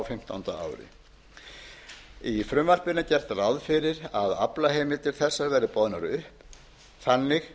fimmtánda ári í frumvarpinu er gert ráð fyrir að aflaheimildir þessar verði boðnar upp þannig